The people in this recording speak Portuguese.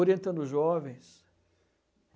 Orientando jovens.